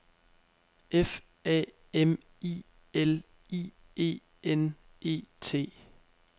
F A M I L I E N E T